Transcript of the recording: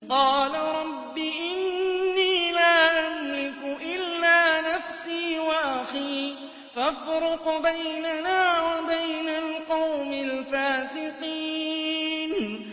قَالَ رَبِّ إِنِّي لَا أَمْلِكُ إِلَّا نَفْسِي وَأَخِي ۖ فَافْرُقْ بَيْنَنَا وَبَيْنَ الْقَوْمِ الْفَاسِقِينَ